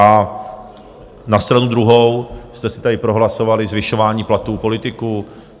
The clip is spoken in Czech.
A na stranu druhou jste si tady prohlasovali zvyšování platů politiků.